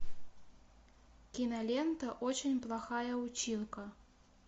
кинолента очень плохая училка